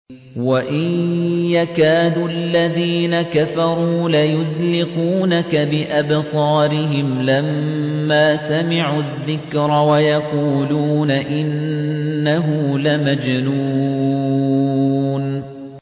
وَإِن يَكَادُ الَّذِينَ كَفَرُوا لَيُزْلِقُونَكَ بِأَبْصَارِهِمْ لَمَّا سَمِعُوا الذِّكْرَ وَيَقُولُونَ إِنَّهُ لَمَجْنُونٌ